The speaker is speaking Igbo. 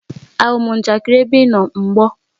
Áwu m njakịrị ébé ị nọ mgbor!